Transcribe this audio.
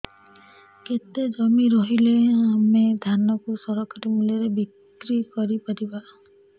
କେତେ ଜମି ରହିଲେ ଆମେ ଧାନ କୁ ସରକାରୀ ମୂଲ୍ଯରେ ବିକ୍ରି କରିପାରିବା